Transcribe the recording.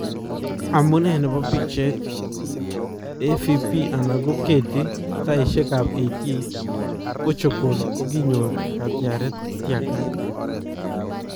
Amunee nebo picheet , AFP/Getty sayishek ab 88, Portugal kokinyoor katyareet tyakat .